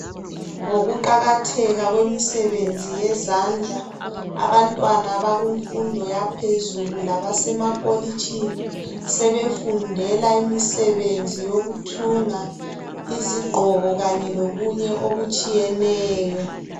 Ngokuqakatheka kwemisebenzi yezandla abantwana abakumfundo yaphezulu labasemakolitshini sebefundela imisebenzi yokuthunga izigqoko kanye lokunye okutshiyeneyo.